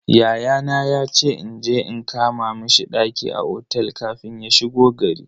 Yayana yace inje in kama mishi ɗaki a otel kafin ya shigo gari.